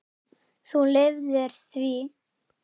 Þú lifðir því.